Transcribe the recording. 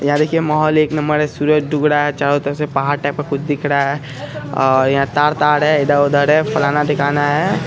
यहाँ देखिये माहोल एक नंबर है सूरज ढूब रहा है चारो तरफ से पहाड़ टाइप का कुछ दिख रहा है और यहाँ तार ताड़ है इधर उधर है फलाना थीकाना है।